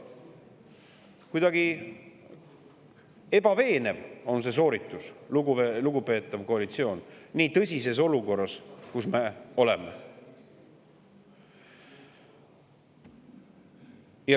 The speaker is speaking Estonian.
Kuidagi ebaveenev on see sooritus, lugupeetav koalitsioon, nii tõsises olukorras, kus me oleme.